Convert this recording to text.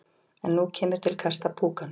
En nú kemur til kasta púkans.